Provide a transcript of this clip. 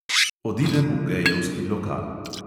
Odidem v gejevski lokal.